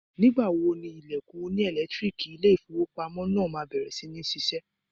Nígbà wo ni ilẹ̀kùn oní ẹ̀lẹ́tíríìkì ilé ìfowópamọ́ náà máa bẹ̀rẹ̀ sí ní ṣiṣẹ́.?